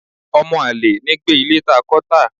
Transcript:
ọmọ alẹ̀ ní gbé ilé ta kọ tá